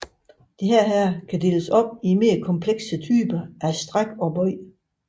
Disse kan deles op i mere komplekse typer af stræk og bøj